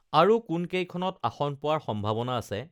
আৰু কোনকেইখনত আসন পোৱাৰ সম্ভা‌ৱনা আছে